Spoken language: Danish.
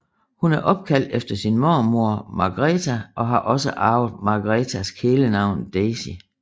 Hun er opkaldt efter sin mormor Margareta og har også arvet Margaretas kælenavn Daisy